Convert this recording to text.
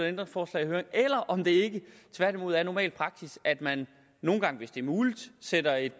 ændringsforslag i høring eller om det ikke tværtimod er normal praksis at man nogle gange hvis det er muligt sender et